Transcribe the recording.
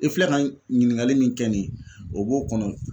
I filɛ ka ɲininkali min kɛ nin ye o b'o kɔnɔ